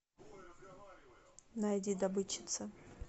найди добытчица